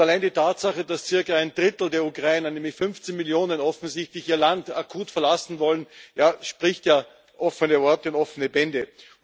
Und allein die Tatsache, dass zirka ein Drittel der Ukrainer, nämlich 15 Millionen, offensichtlich ihr Land akut verlassen wollen, spricht ja offene Worte und offene Bände.